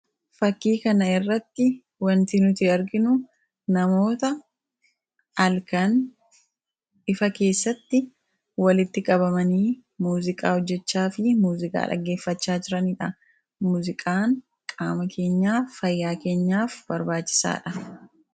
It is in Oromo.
fakkii kana irratti wantii nuti arginu namoota alkaan ifa keessatti walitti qabamanii muuziqaa hojjechaa fi muuziqaa dhaggeeffachaa jiraniidha muziqaan qaama keenyaaf, fayyaa keenyaaf barbaachisaadha